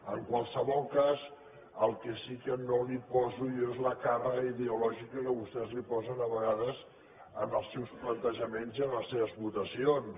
en qualsevol cas el que sí que no hi poso jo és la càrrega ideològica que vostès posen a vegades als seus plantejaments i a les seves votacions